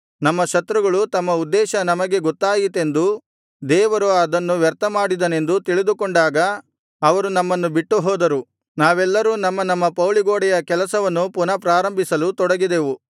ನಮ್ಮ ಶತ್ರುಗಳು ತಮ್ಮ ಉದ್ದೇಶ ನಮಗೆ ಗೊತ್ತಾಯಿತೆಂದೂ ದೇವರು ಅದನ್ನು ವ್ಯರ್ಥಮಾಡಿದನೆಂದೂ ತಿಳಿದುಕೊಂಡಾಗ ಅವರು ನಮ್ಮನ್ನು ಬಿಟ್ಟು ಹೋದರು ನಾವೆಲ್ಲರೂ ನಮ್ಮ ನಮ್ಮ ಪೌಳಿಗೋಡೆಯ ಕೆಲಸವನ್ನು ಪುನಃ ಪ್ರಾರಂಭಿಸಲು ತೊಡಗಿದೆವು